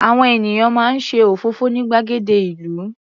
Àwọn ènìyàn máa ń ṣe òfófó ní gbàgede ìlú.